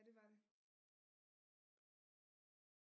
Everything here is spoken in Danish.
Ja det var det